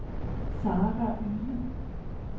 Sara Yde